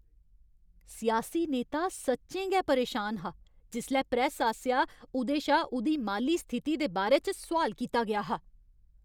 सियासी नेता सच्चें गै परेशान हा जिसलै प्रैस्स आसेआ उ'दे शा उ'दी माली स्थिति दे बारे च सोआल कीता गेआ हा।